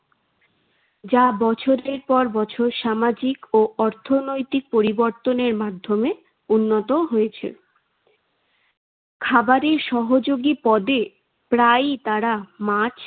যা বছরের পর বছর সামাজিক ও অর্থনৈতিক পরিবর্তনের মাধ্যমে উন্নত হয়েছে। খাবারের সহযোগী পদে প্রায়ই তারা মাছ